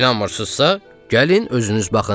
İnanmırsızsa, gəlin özünüz baxın.